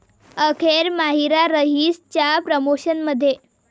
अखेर माहिरा 'रईस'च्या प्रमोशनमध्ये